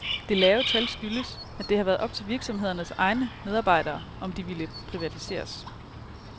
Det lave tal skyldes, at det har været op til virksomhedernes egne medarbejdere, om de ville privatiseres.